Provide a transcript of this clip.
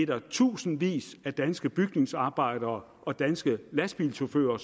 der er tusindvis af danske bygningsarbejdere og danske lastbilchauffører